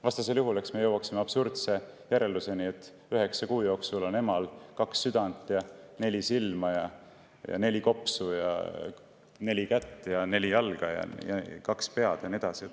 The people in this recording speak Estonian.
Vastasel juhul me jõuaksime absurdse järelduseni, et üheksa kuu jooksul on emal kaks südant, neli silma, neli kopsu, neli kätt, neli jalga, kaks pead ja nii edasi.